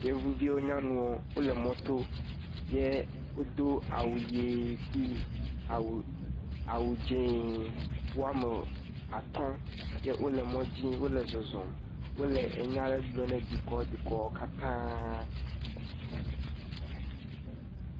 Yevuviwo nyanuwo wole mɔto, ye wodo awu ʋe kpli awu dze. Woame atɔ̃ ye wole mɔdzi wole zɔzɔm, wole enya le gblɔ ne dukɔ dukɔ katãa.